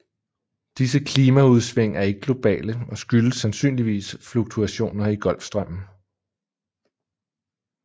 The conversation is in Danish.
Disse klimaudsving er ikke globale og skyldes sandsynligvis fluktuationer i Golfstrømmen